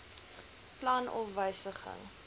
plan of wysiging